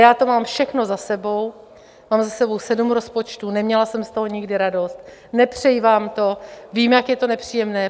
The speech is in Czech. Já to mám všechno za sebou, mám za sebou sedm rozpočtů, neměla jsem z toho nikdy radost, nepřeji vám to, vím, jak je to nepříjemné.